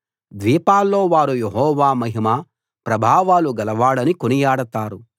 ద్వీపాల్లో వారు యెహోవా మహిమా ప్రభావాలు గలవాడని కొనియాడతారు